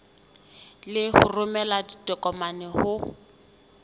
le ho romela ditokomane ho